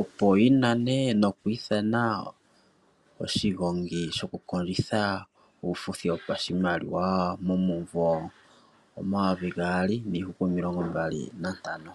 opo yi nane noku ithana oshigongi shoku kondjitha uufuthi wopashimaliwa momumvo 2025.